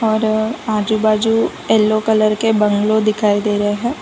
और आजू बाजू येलो कलर के बंगलो दिखाई दे रहे हैं।